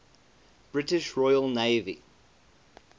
british royal navy